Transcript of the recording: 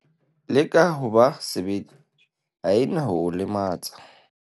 leka ho ba sebete, ha e na ho o lematsa